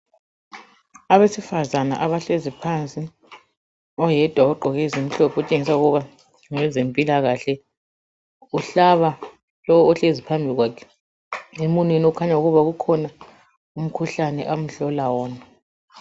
Abesifazana abahlezi phansi, oyedwa ugqoke ezimhlophe utshengisa ukuba ngowezempilakahle. Umhlaba lowu ohlezi phambi kwakhe emunweni okukhanya ukuba kukhona umkhuhlane amhlola wona.